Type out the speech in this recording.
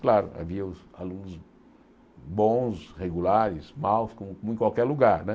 Claro, havia os alunos bons, regulares, maus, como em qualquer lugar, né?